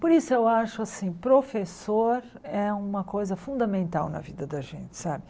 Por isso eu acho assim, professor é uma coisa fundamental na vida da gente, sabe?